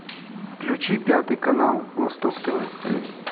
включи пятый канал восток тв